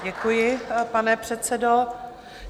Děkuji, pane předsedo.